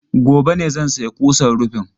Gobe ne zan sayi kusan rufin.